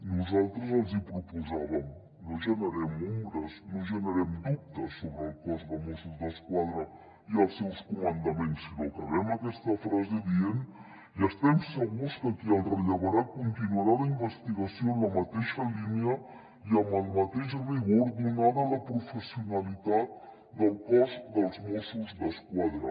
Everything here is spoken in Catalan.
nosaltres els hi proposàvem no generem ombres no generem dubtes sobre el cos de mossos d’esquadra i els seus comandaments sinó que acabem aquesta frase dient i estem segurs que qui el rellevarà continuarà la investigació en la mateixa línia i amb el mateix rigor donada la professionalitat del cos dels mossos d’esquadra